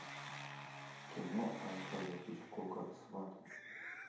кино альфреда хичкока сваты